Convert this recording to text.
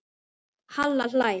Halla hlær.